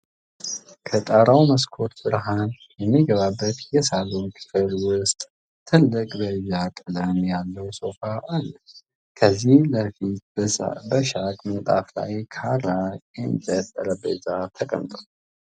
ከጣሪያው መስኮት ብርሃን የሚገባበት የሳሎን ክፍል ውስጥ ትልቅ በይዥ ቀለም ያለው ሶፋ አለ። ከፊት ለፊቱ በሻግ ምንጣፍ ላይ ካሬ የእንጨት ጠረጴዛ ተቀምጧል።